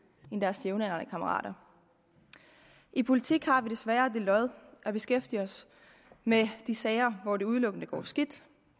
end deres jævnaldrende kammerater i politik har vi desværre det lod at beskæftige os med de sager hvor det udelukkende går skidt